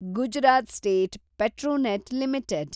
Gujarat state Petronet limited